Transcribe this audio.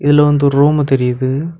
இதுல வந்து ஒரு ரூம் தெரியுது.